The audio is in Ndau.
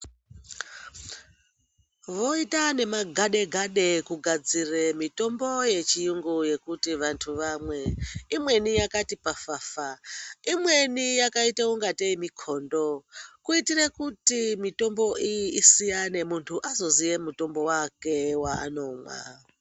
Voita nemagade-gade kugadzire mitombo yechiyungu yekuti vantu vamwe. Iimweni yakati pafafa, imweni yakaite ungatei mikhondo, kuitire kuti mitombo iyi isiyane ,muntu azoziye mutombo wake waanomwa.